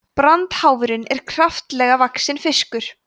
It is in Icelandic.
brandháfurinn er kraftalega vaxinn fiskur